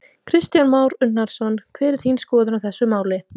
Kristján Már Unnarsson: Hver er þín skoðun á þessu máli?